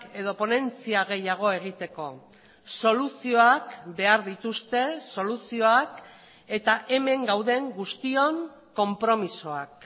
edo ponentzia gehiago egiteko soluzioak behar dituzte soluzioak eta hemen gauden guztion konpromisoak